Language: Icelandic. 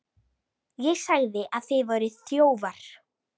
ÉG SAGÐI AÐ ÞIÐ VÆRUÐ ÞJÓFAR.